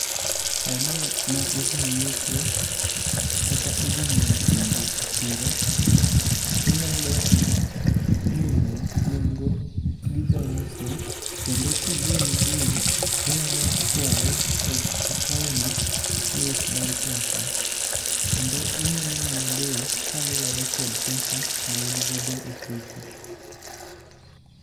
Sano ma idhi nyiepo, kata idhi nyiewo chumbi e chiro, inyalo mino nengo gi jauso, Kendo kogoni bei tinyalo kwae okawni nus mar pesa kendo imino mana bei kaluwore kod pesa ma in go e ofuku.